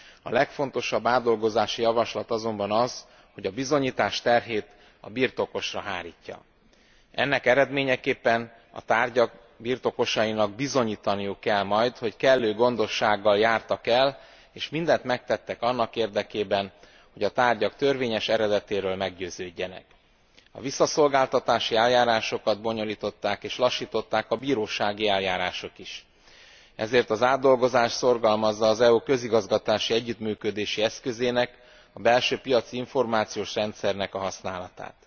A legfontosabb átdolgozási javaslat azonban az, hogy a bizonyítás terhét a birtokosra hárítja. Ennek eredményeképpen a tárgyak birtokosainak bizonyítaniuk kell majd, hogy kellő gondossággal jártak el, és mindent megtettek annak érdekében, hogy a tárgyak törvényes eredetéről meggyőződjenek. A visszaszolgáltatási eljárásokat bonyolították és lassították a bírósági eljárások is, ezért az átdolgozás szorgalmazza az EU közigazgatási együttműködési eszközének, a belső piaci információs rendszernek a használatát.